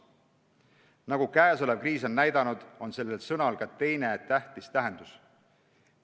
Nagu praegune kriis on näidanud, on sellel sõnal ka teine tähtis tähendus.